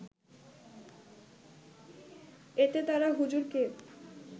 এতে তারা হুজুরকে